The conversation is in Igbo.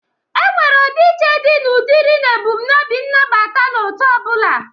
Enwere ọdị iche dị na ụdịrị na ebụmnobi nabata n'otu ọbụla.